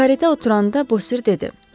Karretaya oturanda Bosir dedi: